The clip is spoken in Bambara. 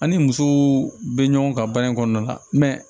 An ni musow bɛ ɲɔgɔn ka baara in kɔnɔna mɛ